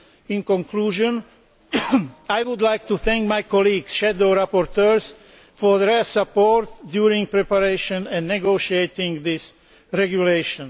In conclusion, I would like to thank my colleague shadow rapporteurs for their support during the preparation and negotiation of this regulation.